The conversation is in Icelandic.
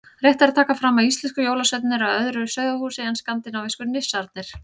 Rétt er að taka fram að íslensku jólasveinarnir eru af öðru sauðahúsi en skandinavísku nissarnir.